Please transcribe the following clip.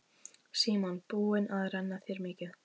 Símon: Búin að renna þér mikið?